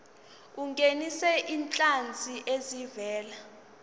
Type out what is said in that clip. ungenise izinhlanzi ezivela